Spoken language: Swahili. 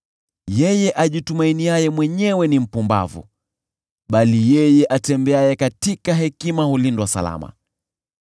Yeye ajitumainiaye mwenyewe ni mpumbavu, bali yeye atembeaye katika hekima hulindwa salama.